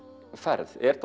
ferð er